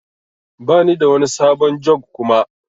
Bani da wani sabon jug Kuma.